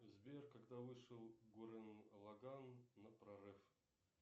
сбер когда вышел гуррен лаганн на прорыв